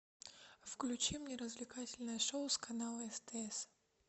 включи мне развлекательное шоу с канала стс